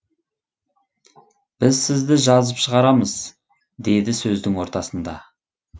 біз сізді жазып шығарамыз деді сөздің ортасында